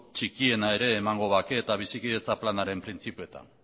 txikiena ere emango bake eta bizikidetza planaren printzipioetan